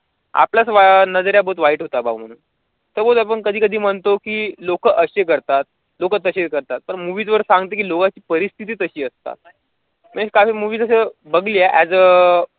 आपल्याच अं नजरा खूप वाईट होतात भाऊ suppose आपण कधी कधी म्हणतो कि लोकं असे करतात लोकं तसे करतात पण movies वर सांगतात कि लोकांची परिस्थिती तशी असतात. काल movie असं बघली as a